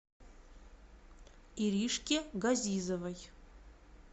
иришке газизовой